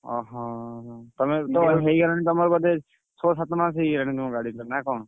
ଅହ! ହେଇଗଲାଣି ତମର ବୋଧେ ଛଅ ସାତ ମାସ ହେଇଗଲାଣି ତମ ଗାଡିଟା ନା କଣ?